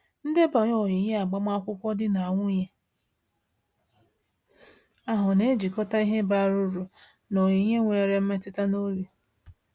Ndebanye onyinye agbamakwụkwọ di na nwunye ahụ na-ejikọta ihe bara uru na onyinye nwere mmetụta n’obi.